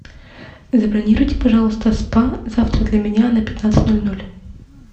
забронируйте пожалуйста спа завтра для меня на пятнадцать ноль ноль